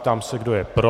Ptám se, kdo je pro.